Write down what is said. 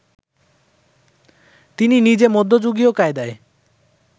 তিনি নিজে মধ্যযুগীয় কায়দায়